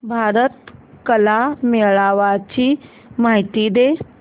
भारत कला मेळावा ची माहिती दे